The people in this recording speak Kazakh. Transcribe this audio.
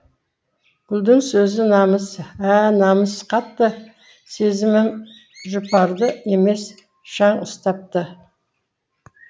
гүлдің сөзі намыс ә намыс қатты сезімім жұпарды емес шаң ұстапты